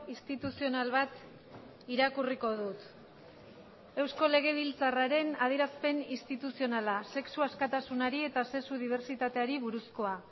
instituzional bat irakurriko dut eusko legebiltzarraren adierazpen instituzionala sexu askatasunari eta sexu dibertsitateari buruzkoa